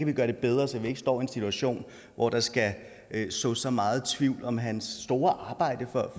vi gøre det bedre så vi ikke står i en situation hvor der skal sås så meget tvivl om hans store arbejde for